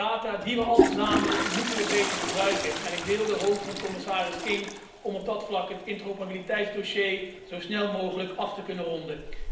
De data die we al verzamelen, moeten we beter gebruiken en ik deel de hoop van commissaris King dat op dat vlak het interoperabiliteitsdossier zo snel mogelijk wordt afgerond.